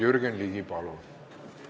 Jürgen Ligi, palun!